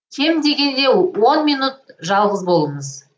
кем дегенде он минут жалғыз болыңыз